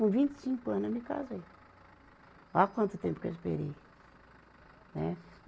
Com vinte e cinco anos eu me casei. Olha quanto tempo que eu esperei. Né